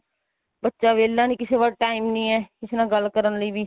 ਬੱਚਾ ਵਿਹਲਾ ਨੀ ਕਿਸੇ ਕੋਲ time ਨੀ ਏ ਕਿਸੇ ਨਾਲ ਗੱਲ ਕਰਨ ਲਈ ਵੀ